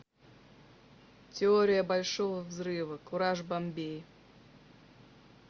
теория большого взрыва кураж бамбей